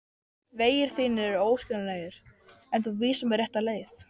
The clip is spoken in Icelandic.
Vegir þínir eru óskiljanlegir en þú vísar mér rétta leið.